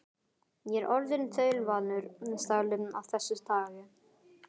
Ég er orðinn þaulvanur stagli af þessu tagi.